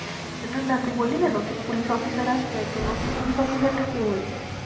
আচ্ছা, না না তুই বললি না নতুন পুলিশ অফিসার আসবে, তো নতুন পুলিশ অফিসারটা কে হয়েছে?